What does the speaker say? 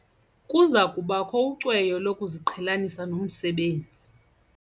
Kuza kubakho ucweyo lokuziqhelanisa nomsebenzi.